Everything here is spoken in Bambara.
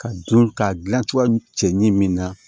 Ka don ka gilan cogoya cɛ ɲɛ min na